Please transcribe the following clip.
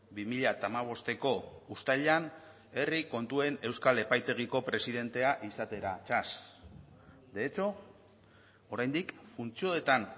bi mila hamabosteko uztailean herri kontuen euskal epaitegiko presidentea izatera txas de hecho oraindik funtzioetan